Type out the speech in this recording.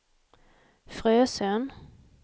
Frösön